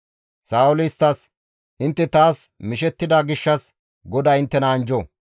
Sa7ooli isttas, «Intte taas mishettida gishshas GODAY inttena anjjo!